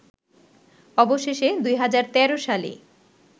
অবশেষে ২০১৩ সালে